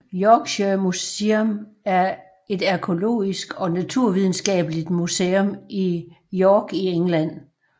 Yorkshire Museum er et arkæologisk og naturvidenskabeligt museum i York i England